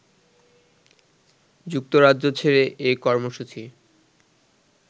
যুক্তরাজ্য ছেড়ে এ কর্মসূচি